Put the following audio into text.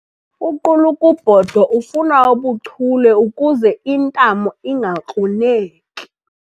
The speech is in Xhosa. Uqulukubhodo ufuna ubuchule ukuze intamo ingakruneki.